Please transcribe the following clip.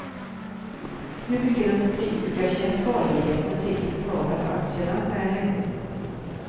Hur mycket den brittiska kemikaliejätten fick betala för aktierna är hemligt.